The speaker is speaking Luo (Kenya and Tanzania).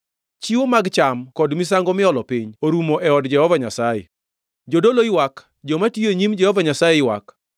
Chiwo mag cham kod misango miolo piny orumo e od Jehova Nyasaye. Jodolo ywak joma tiyo e nyim Jehova Nyasaye ywak.